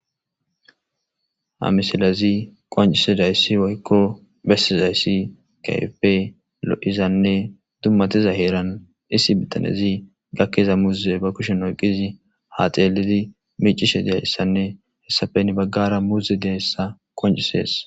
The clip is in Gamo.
amisilezi qoncise dayssi woykko bessi zayssi kaype lo7izanne dummatiza heeran issi bitanezi gakkeza muuze ba kushen oyqizi ha xeelidi micishe deayssanne hessafe ni baggara muuze deyssa qoncisees